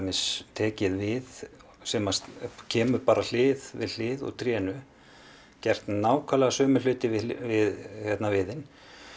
tekið við sem kemur hlið við hlið úr trénu gert nákvæmlega sömu hluti við viðinn